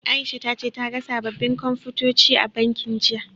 Aisha ta ce ta ga sababbin Komfutoci a bankin, jiya.